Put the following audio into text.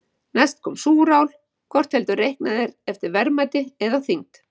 Næst kom súrál, hvort heldur reiknað er eftir verðmæti eða þyngd.